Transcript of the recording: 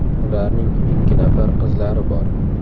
Ularning ikki nafar qizlari bor.